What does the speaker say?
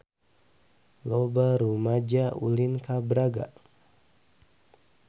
Loba rumaja ulin ka Braga